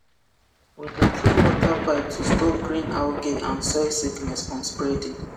we dey clean water pipe to stop green algae and soil sickness from spreading